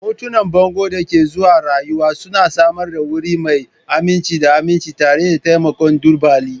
Hotunan bangon da ke zuwa rayuwa suna samar da wuri mai aminci da aminci tare da taimakon tubali